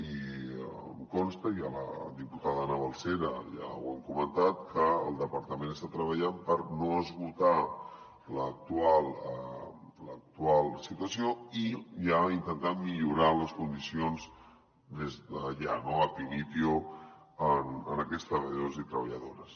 i em consta i amb la diputada ana balsera ja ho hem comentat que el departament està treballant per no esgotar l’actual situació i ja intentar millorar les condicions des de ja no ab initio d’aquests treballadors i treballadores